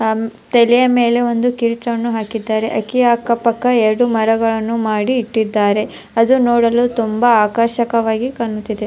ತಲೆಯ ಮೇಲೆ ಒಂದು ಕಿರೀಟವನ್ನು ಹಾಕಿದ್ದಾರೆ ಹಕ್ಕಿಯ ಅಕ್ಕ ಪಕ್ಕ ಎರಡು ಮರಗಳನ್ನು ಮಾಡಿ ಇಟ್ಟಿದ್ದಾರೆ ಅದು ನೋಡಲು ತುಂಬ ಆಕರ್ಷ್ಕವಾಗಿ ಕಾಣುತ್ತಿದೆ.